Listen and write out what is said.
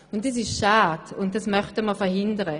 Das ist schade, und das möchten wir verhindern.